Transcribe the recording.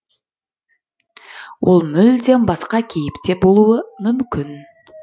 ол мүлдем басқа кейіпте болуы мүмкін